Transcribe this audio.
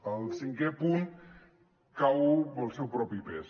el cinquè punt cau pel seu propi pes